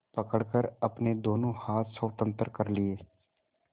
पकड़कर अपने दोनों हाथ स्वतंत्र कर लिए